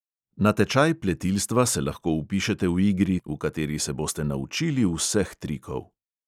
Na tečaj pletilstva se lahko vpišete v igri, v kateri se boste naučili vseh trikov.